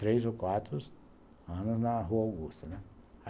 Três ou quatro anos na Rua Augusta, né.